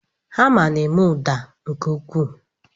Hama na-eme ụda nke ukwuu.